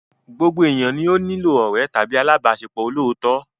Gbogbo ènìyàn ni ó nílò ọ̀rẹ́ tàbí alábàáṣepọ̀ olóòótọ́.